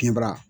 Kinbara